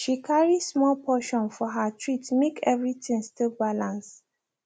she carry small portion for her treat make everything still balance